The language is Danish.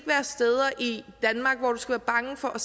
være bange for at